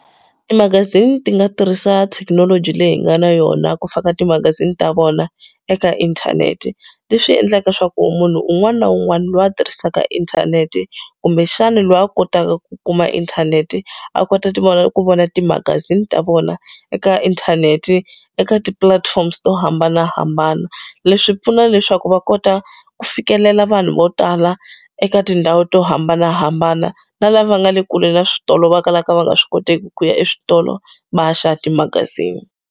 Timagazini ti nga tirhisa thekinoloji leyi hi nga na yona ku fana timagazini ta vona eka inthanete leswi endlaka leswaku munhu un'wana na un'wana loyi a tirhisaka inthanete kumbe xana loyi a kotaka ku ku kuma inthanete a kota tivona ku vona timagazini ta vona eka inthanete eka tipulatifomo to hambanahambana leswi pfuna leswaku va kota ku fikelela vanhu vo tala eka tindhawu to hambanahambana na lava nga le kule na switolo va kalaka va nga swi koteki ku ya eswitolo va ya xava timagazini.